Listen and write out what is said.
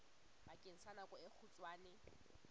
bakeng sa nako e kgutshwane